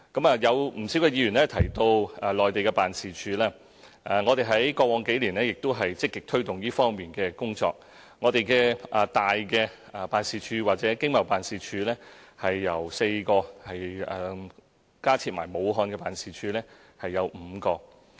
不少議員提及駐內地的辦事處，我們在過往數年也積極推動這方面的工作，一些大的辦事處或經貿辦事處有4個，在加設駐武漢辦事處後即有5個。